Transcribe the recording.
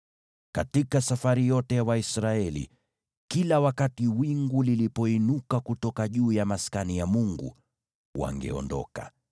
Katika safari yote ya Waisraeli, kila wakati wingu lilipoinuka kutoka juu ya Maskani ya Mungu, wangeondoka;